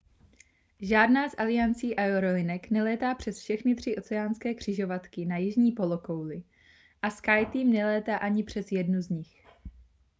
žádná z aliancí aerolinek nelétá přes všechny tři oceánské křižovatky na jižní polokouli a skyteam nelétá ani přes jednu z nich